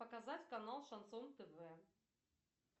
показать канал шансон тв